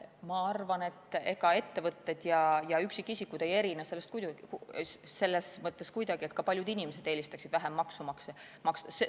Ma arvan, et ega ettevõtted ja üksiksisikud ei erine selles mõttes kuidagi, et ka paljud inimesed eelistaksid vähem maksu maksta.